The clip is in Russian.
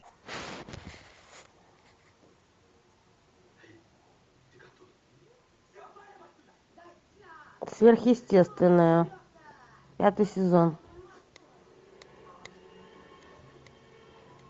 сверхъестественное пятый сезон